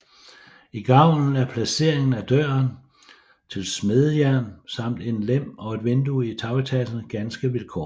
I gavlen er placeringen af døren til smedjen samt en lem og et vindue i tagetagen ganske vilkårlig